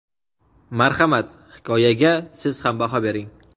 Marhamat, hikoyaga siz ham baho bering.